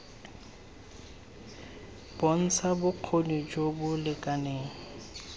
bontsha bokgoni jo bo lekaneng